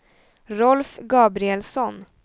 Rolf Gabrielsson